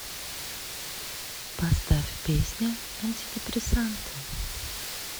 поставь песня антидепрессанты